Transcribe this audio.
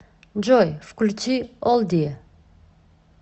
джой включи олдие